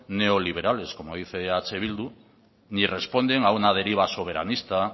neoliberales como dice eh bildu ni responden a una deriva soberanista